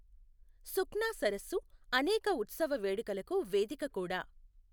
సుఖ్నా సరస్సు అనేక ఉత్సవ వేడుకలకు వేదిక కూడా.